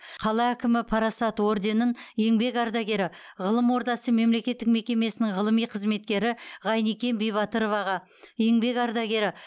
қала әкімі парасат орденін еңбек ардагері ғылым ордасы мемлекеттік мекемесінің ғылыми қызметкері ғайникен бибатыроваға еңбек ардагері